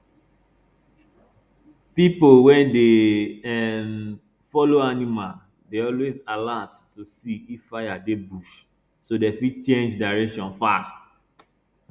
people wey dey um follow animal dey always alert to see if fire dey bush so dem fit change direction fast